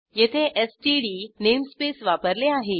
येथे STD namespace वापरले आहे